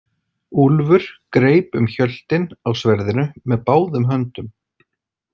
Úlfur greip um hjöltin á sverðinu með báðum höndum.